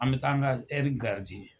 An bi taa an ka